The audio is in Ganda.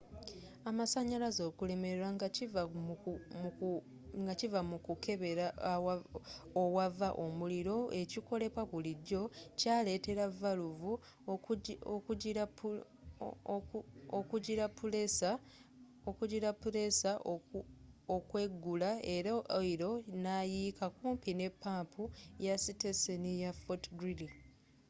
amasanyalaze okulemererwa nga kiva mu kukebera owava omuliro ekikolebwa bulijjo kyaleetera valuvu ezikugira puleesa okweggula era oyiro nayiika kumpi ne pampu ya siteseni ya fort greely